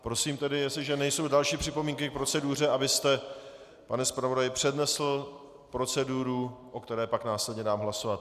Prosím tedy, jestliže nejsou další připomínky k proceduře, abyste, pane zpravodaji, přednesl proceduru, o které pak následně dám hlasovat.